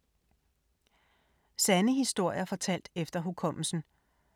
Sande historier fortalt efter hukommelsen